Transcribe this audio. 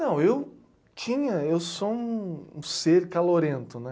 Não, eu tinha, eu sou um ser calorento, né?